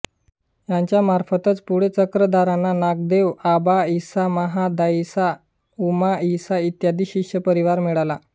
त्यांच्यामार्फतच पुढे चक्रधरांना नागदेव आबाइसा महादाइसा उमाइसा इत्यादि शिष्यपरिवार मिळाला